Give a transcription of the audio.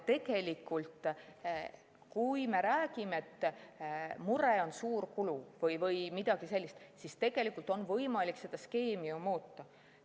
Kui me räägime, et muret teeb suur kulu või midagi sellist, siis tegelikult on ju võimalik seda skeemi muuta.